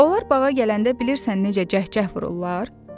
Onlar bağa gələndə bilirsən necə cəhcəh vururlar?